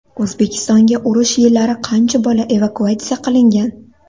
O‘zbekistonga urush yillari qancha bola evakuatsiya qilingan?